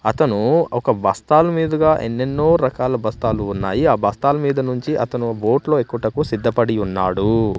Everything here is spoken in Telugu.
అతను ఒక బస్తాలు మీదుగా ఎన్నెన్నో రకాల బస్తాలు ఉన్నాయి ఆ బస్తాల మీద నుంచి అతను బోట్లో ఎక్కుటకు సిద్ధపడి ఉన్నాడూ.